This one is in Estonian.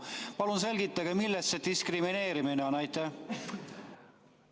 Palun selgitage, millest see diskrimineerimine on!